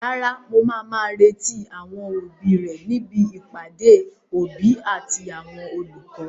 Rárá, màá má retí àwọn òbí rẹ ní ibi ìpàdé àwọn òbí àti olùkọ́.